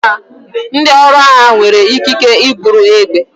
Ndị ọrụ agha nwere ikike iburu egbe.